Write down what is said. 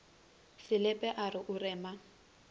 selepe a re o rema